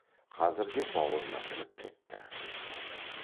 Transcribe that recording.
қазір де баурына кіріп кетті